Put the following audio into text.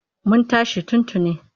Mun tashi tun tuni.